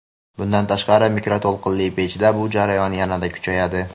Bundan tashqari mikroto‘lqinli pechda bu jarayon yanada kuchayadi.